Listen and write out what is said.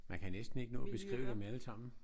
Man kan næsten ikke nå at beskrive dem alle sammen